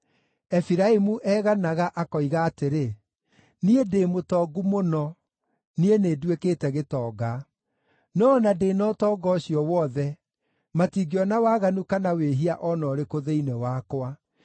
Efiraimu eganaga, akoiga atĩrĩ, “Niĩ ndĩ mũtongu mũno; niĩ nĩnduĩkĩte gĩtonga. No o na ndĩ na ũtonga ũcio wothe, matingĩona waganu kana wĩhia o na ũrĩkũ thĩinĩ wakwa.”